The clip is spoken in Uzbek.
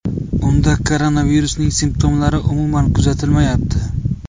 Unda koronavirusning simptomlari umuman kuzatilmayapti.